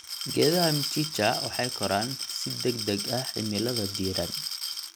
Geedaha mchicha waxay koraan si degdeg ah cimilada diiran.